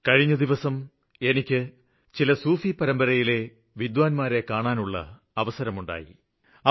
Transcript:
കഴിഞ്ഞ ദിവസങ്ങളില് എനിക്ക് സൂഫി പരമ്പരയിലെ പണ്ഡിതരെ കണ്ടുമുട്ടുവാനുള്ള അവസരം ലഭിച്ചു